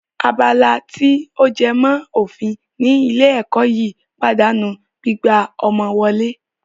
Abala tí ó jẹ mọ́ òfin ní ilé ẹ̀kọ́ yìí pàdánù gbígbà ọmọ wọlé